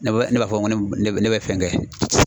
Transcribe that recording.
Ne bɛ ne b'a fɔ ko ne bɛ ne bɛ fɛn kɛ.